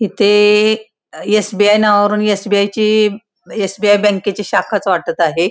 इथे एस.बी.आय. नावावरून एस.बी.आय. ची एस.बी.आय. बँकेची शाखाच वाटत आहे.